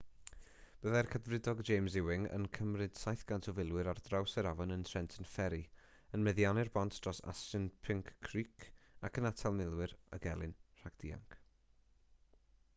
byddai'r cadfridog james ewing yn cymryd 700 o filwyr ar draws yr afon yn trenton ferry yn meddiannu'r bont dros assunpink creek ac yn atal milwyr y gelyn rhag dianc